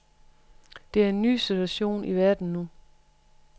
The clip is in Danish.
Der er en ny situation i verden nu.